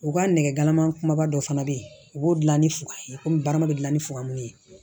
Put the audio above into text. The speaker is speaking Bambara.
U ka nɛgɛmanba dɔ fana bɛ yen u b'o dilan ni fugan ye komi barama bɛ dilan ni famu ye